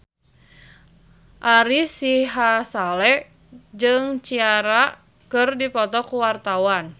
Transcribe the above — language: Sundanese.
Ari Sihasale jeung Ciara keur dipoto ku wartawan